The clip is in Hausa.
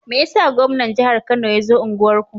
Meyasa gwaman jahar kano yazo unguwar ku?